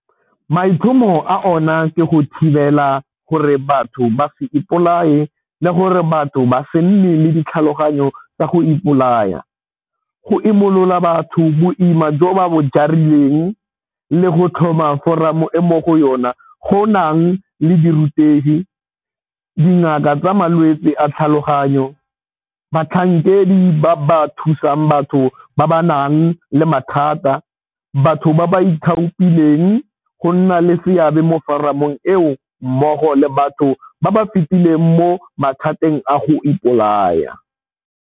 Maitlhomo a ona ke go thibela gore batho ba se ipolaye le gore batho ba se nne le ditlhaloganyo tsa go ipolaya, go imolola batho boima jo ba bo jarileng le go tlhoma foramo e mo go yona go nang le dirutegi, dingaka tsa malwetse a tlhaloganyo, batlhankedi ba ba thusang batho ba ba nang le mathata, batho ba ba ithaopileng go nna le seabe mo foramong eo mmogo le batho ba ba fetileng mo mathateng a go ipolaya.